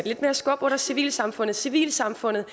lidt mere skub under civilsamfundet civilsamfundet